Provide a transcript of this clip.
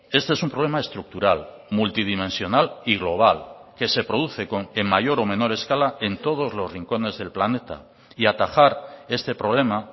este es un problema estructural multidimensional y global que se produce en mayor o menor escala en todos los rincones del planeta y atajar este problema